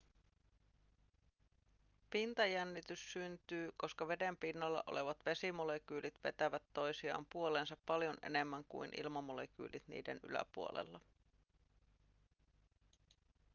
pintajännitys syntyy koska veden pinnalla olevat vesimolekyylit vetävät toisiaan puoleensa paljon enemmän kuin ilmamolekyylit niiden yläpuolella